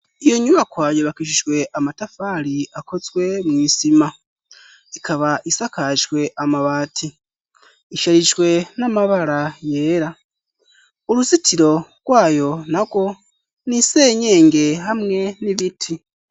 Iyo nyubakwa yubakishijwe amatafari akozwe mwisima ikaba isakajwe amabati isharijwe n'amabara yera uruzitiro rwayo nago nisenyenge hamwe n'ibiti.